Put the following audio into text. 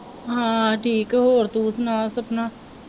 ਹਾਂ ਠੀਕ ਹੋਰ ਤੂੰ ਸੁਣਾ ਸਪਨਾ।